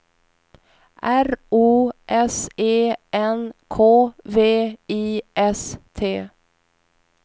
R O S E N K V I S T